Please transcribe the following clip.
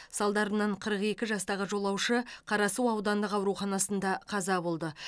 салдарынан қырық екі жастағы жолаушы қарасу аудандық ауруханасында қаза болды